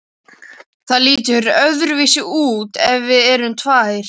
Það lítur öðruvísi út ef við erum tvær.